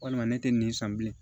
Walima ne tɛ nin san bilen